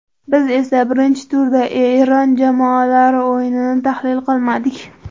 Biz esa birinchi turda Eron jamoalari o‘yinini tahlil qilmadik.